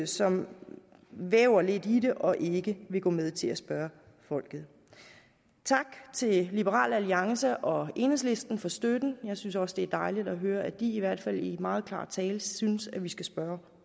som væver lidt i det og ikke vil gå med til at spørge folket tak til liberal alliance og enhedslisten for støtten jeg synes også det er dejligt at høre at de i hvert fald i meget klar tale synes vi skal spørge